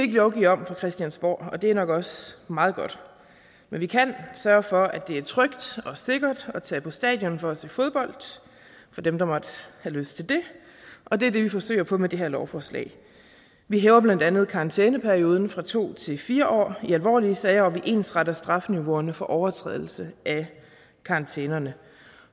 lovgive om fra christiansborg og det er nok også meget godt men vi kan sørge for at det er trygt og sikkert at tage på stadion for at se fodbold for dem der måtte have lyst til det og det er det vi forsøger på med det her lovforslag vi hæver blandt andet karantæneperioden fra to til fire år i alvorlige sager og vi ensretter strafniveauerne for overtrædelse af karantænerne